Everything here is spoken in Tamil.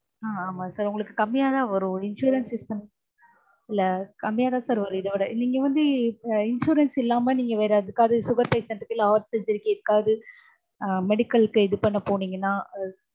ஆ ஆமா sir உங்களுக்கு கம்மியாதா வரும். insurance use இல்ல கம்மியாதா sir வரும் இதவிட. நீங்க வந்து insurance இல்லாம வேற எதுக்காவது sugar patient க்கு இல்ல heart surgery க்கு எதுக்காவது அஹ் medical க்கு இது பண்ண போனீங்கன்னா